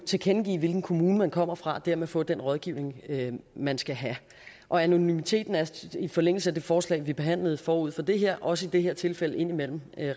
tilkendegive hvilken kommune man kommer fra og dermed få den rådgivning man skal have og anonymiteten er i forlængelse af det forslag vi behandlede forud for det her også i det her tilfælde indimellem